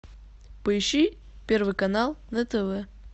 поищи первый канал на тв